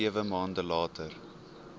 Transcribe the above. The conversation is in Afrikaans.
sewe maande later